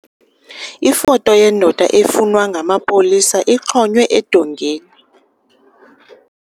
Ifoto yendoda efunwa ngamapolisa ixhonywe edongeni.